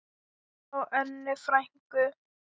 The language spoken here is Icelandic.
Hjá Önnu frænku.